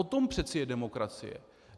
O tom přeci je demokracie.